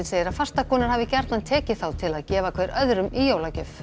segir að fastakúnnar hafi gjarnan tekið þá til að gefa hver öðrum í jólagjöf